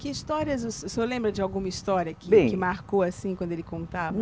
Que histórias o se, o senhor lembra de alguma história que, que marcou assim quando ele contava?